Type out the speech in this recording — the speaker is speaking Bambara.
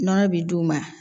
Nɔnɔ bi d'u ma